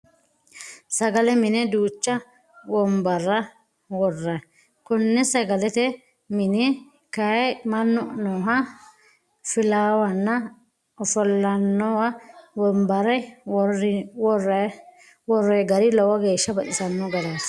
Sagale mine duucha wonbarra worrayi. Konne sagalete mine kayii mannu nooha filawanno. Ofollinanni wonbarra worroyi gari lowo geya baxisanno garaati.